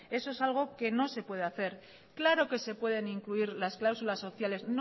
eso es algo que no se puede hacer claro que se pueden incluir las cláusulas sociales